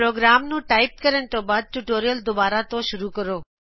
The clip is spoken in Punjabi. ਪ੍ਰੋਗਰਾਮ ਨੂੰ ਟਾਇਪ ਕਰਨ ਤੋ ਬਾਦ ਟਯੂਟੋਰਿਅਲ ਦੁਬਾਰ ਤੋਂ ਸ਼ੂਰੁ ਕਰੋ